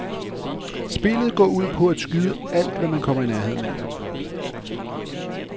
Spillet går ud på at skyde alt, hvad man kommer i nærheden af.